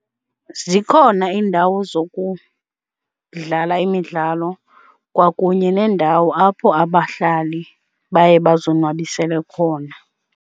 Zikhona iindawo zokudlala imidlalo kwakunye neendawo apho abahlali baye bazonwabisela khona.